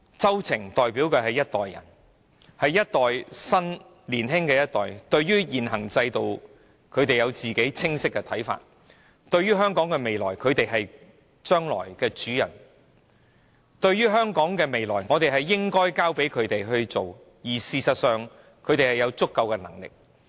周庭所代表的年青一代，對於現行制度有他們清晰的看法，他們是將來的主人翁，我們應把香港的未來交託在他們手上，讓他們建造未來，而事實上他們亦有足夠的能力。